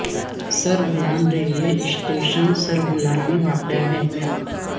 سر Bolan railway station Sar Bolan میں واقع ہے